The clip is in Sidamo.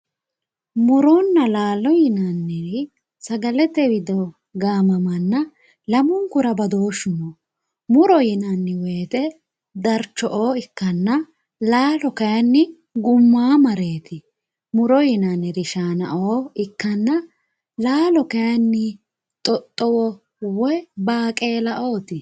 Murona laalo yinaniri sagalete wido gaamamana lamunkura badooshu no muro yinani woyite darcho`oo ikana laalo yinaniri gumamoret muro yimaniri shaanao ikana laalu kayini xoxowo woyi baaqelaooti